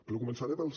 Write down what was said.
però començaré pels